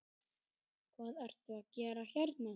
Hvað ertu að gera hérna?